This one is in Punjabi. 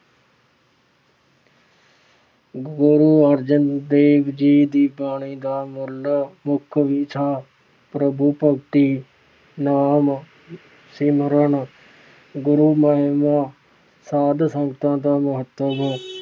ਗੁਰੂ ਅਰਜਨ ਦੇਵ ਜੀ ਦੀ ਬਾਣੀ ਦਾ ਮੂਲ ਮੁੱਖ ਵਿਸ਼ਾ- ਗੁਰੂ ਭਗਤੀ, ਨਾਮ ਸਿਮਰਨ, ਗੁਰੂ ਮਹਿਮਾ, ਸਾਧੂ-ਸੰਤਾਂ ਦਾ ਮਹੱਤਵ